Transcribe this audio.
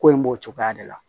Ko in b'o cogoya de la